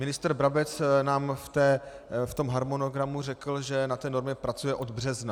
Ministr Brabec nám v tom harmonogramu řekl, že na té normě pracuje od března.